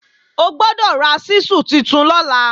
Ó gbọ́dọ̀ ra ṣísù tuntun lọ́la!